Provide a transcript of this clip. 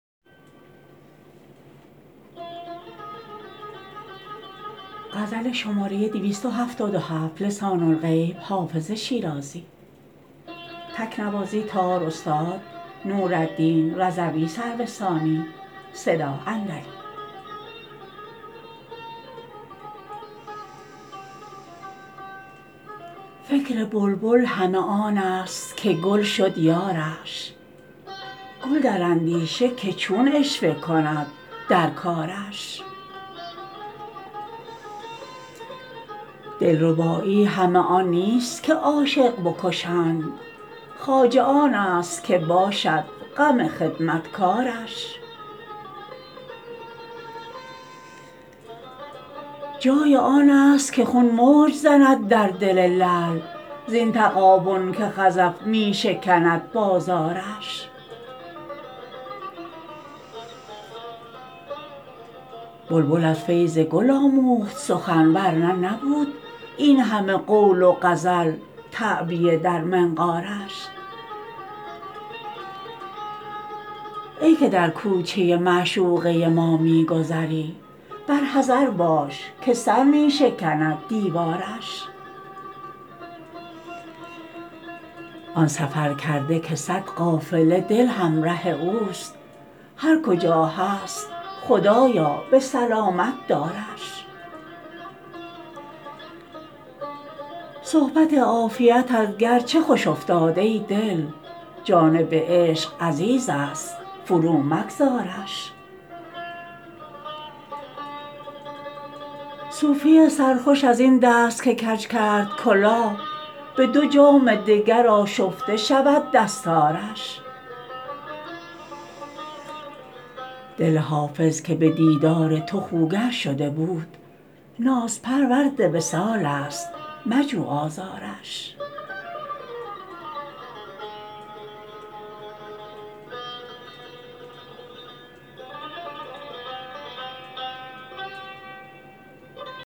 فکر بلبل همه آن است که گل شد یارش گل در اندیشه که چون عشوه کند در کارش دلربایی همه آن نیست که عاشق بکشند خواجه آن است که باشد غم خدمتکارش جای آن است که خون موج زند در دل لعل زین تغابن که خزف می شکند بازارش بلبل از فیض گل آموخت سخن ور نه نبود این همه قول و غزل تعبیه در منقارش ای که در کوچه معشوقه ما می گذری بر حذر باش که سر می شکند دیوارش آن سفرکرده که صد قافله دل همره اوست هر کجا هست خدایا به سلامت دارش صحبت عافیتت گرچه خوش افتاد ای دل جانب عشق عزیز است فرومگذارش صوفی سرخوش از این دست که کج کرد کلاه به دو جام دگر آشفته شود دستارش دل حافظ که به دیدار تو خوگر شده بود نازپرورد وصال است مجو آزارش